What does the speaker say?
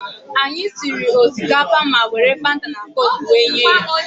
Anyị siere osikapa ma were Fanta na koku were nye ya.